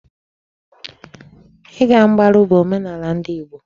Ị ga mgbaru bụ omenala ndị Igbo.